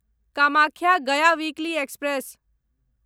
Kamakhya Gaya weekly express